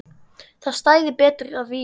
Það stæði betur að vígi.